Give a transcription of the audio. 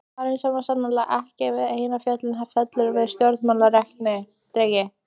Maðurinn var sannarlega ekki við eina fjölina felldur sem stjórnarerindreki!